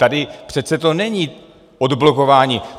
Tady to přece není odblokování.